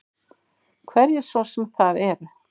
Hverjir svo sem það eru.